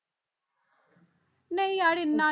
ਨਹੀਂ ਯਾਰ ਇੰਨਾ